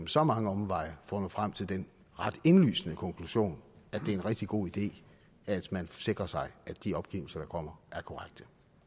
så mange omveje for at nå frem til den ret indlysende konklusion at det er en rigtig god idé at man sikrer sig at de opgivelser der kommer er korrekte